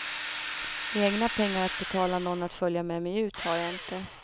Egna pengar att betala någon att följa med mig ut har jag inte.